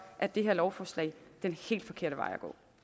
er det her lovforslag den helt forkerte vej